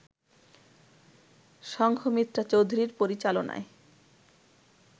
সংঘমিত্রা চৌধুরীর পরিচালনায়